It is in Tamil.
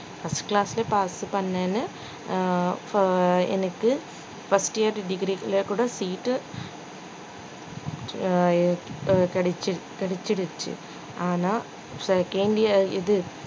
first class ல pass பண்ணேன்னு அஹ் உம் எனக்கு first year degree ல கூட seat உ அஹ் கிடைச்சு~ கிடைச்சிருச்சு ஆனா second year இது